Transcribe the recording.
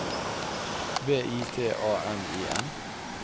V I T A M I N